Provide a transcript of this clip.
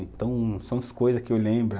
Então são as coisas que eu lembro.